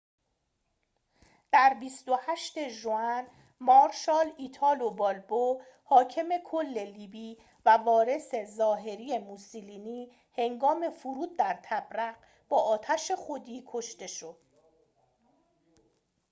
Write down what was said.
در ۲۸ ژوئن مارشال ایتالو بالبو حاکم کل لیبی و وارث ظاهری موسولینی هنگام فرود در طبرق با آتش خودی کشته شد